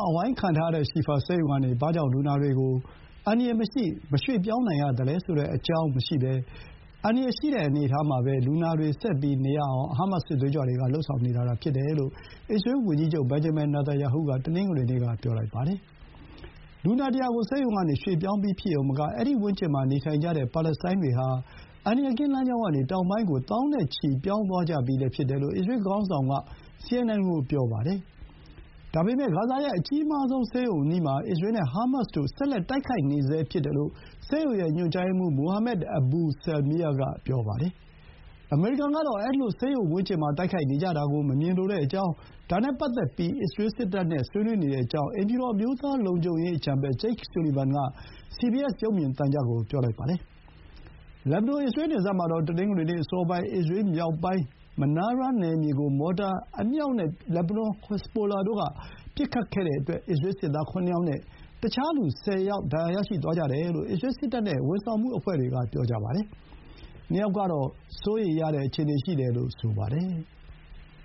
အဝိုင်းခံထားရတဲ့ ရှီဖာ ဆေးရုံကနေ ဘာကြောင့် လူနာတွေကို အန္တရာယ်မရှိ၊ မရွှေ့ပြောင်းနိုင်ရသလဲဆိုတဲ့အကြောင်းမရှိဘဲ အန္တရာယ်ရှိတဲ့အနေအထားမှာ လူနာတွေ ရှိနေအောင် ဟားမတ်စ်စစ်သွေးကြွတွေက လုပ်ဆောင်နေတာသာဖြစ်တယ်လို့ အစ္စရေး ဝန်ကြီးချုပ် ဘင်န်ဂျမင် နာတန်ယာဟုက တနင်္ဂနွေနေ့က ပြောလိုက်ပါတယ်။ လူနာ ၁၀၀ ကို ဆေးရုံကနေ ရွှေ့ပြောင်းပြီးဖြစ်ရုံမက အဲဒီဝန်းကျင်မှာ နေထိုင်တဲ့ ပါလက်စတိုင်းတွေဟာ အန္တရာယ်ကင်းလမ်းကြောင်းကနေ တောင်ပိုင်းကို သောင်းချီ ပြောင်းသွားကြပြီလည်းဖြစ်တယ်လို့ အစ္စရေးခေါင်းဆောင်က CNN ကို ပြောပါတယ်။ ဒါပေမဲ့ ဂါဇာရဲ့အကြီးမားဆုံးဆေးရုံအနီးမှာ အစ္စရေးနဲ့ဟားမတ်စ်တို့ ဆက်လက် တိုက်ခိုက်နေဆဲဖြစ်တယ်လို့ ဆေးရုံရဲ့ညွှန်ကြားရေးမှူး မိုဟာမက် အဘူ ဆယ်လ်မီယား (Mohammad Abu Salmiya) က ပြောပါတယ်။ အမေရိကန်ကတော့ အဲဒီလို ဆေးရုံဝန်းကျင်မှာ တိုက်ခိုက်နေကြတာကို မမြင်လိုကြောင်း၊ ဒါနဲ့ပတ်သက်ပြီး အစ္စရေးစစ်တပ်နဲ့ ဆွေးနွေးနေကြောင်း အိမ်ဖြူတော် အမျိုးသားလုံခြုံရေးအကြံပေး ဂျိတ်ဆူလီဗန်က စီဘီအက်စ် ရုပ်မြင်သံကြားကို ပြောပါတယ်။ လက်ဘနွန်- အစ္စရေးနယ်စပ်မှာတော့ တနင်္ဂနွေနေ့အစောပိုင်းက အစ္စရေးမြောက်ပိုင်း မနားရား (Manara) နယ်မြေကို မော်တာအမြောက်နဲ့ လက်ဘနွန်ဟက်ဇ်ဘိုလာအဖွဲ့ က ပစ်ခတ်တဲ့အတွက် အစ္စရေးစစ်သား ၇ ယောက်နဲ့ တခြားလူ ၁၀ ယောက် ဒဏ်ရာရရှိသွားကြတယ်လို့ အစ္စရေးစစ်တပ်နဲ့ ဝန်ဆောင်မှုအဖွဲ့တွေက ပြောပါတယ်။ ၂ ယောက်ကတော့ စိုးရိမ်ရတဲ့အခြေအနေရှိတယ်လို့ ဆိုပါတယ်။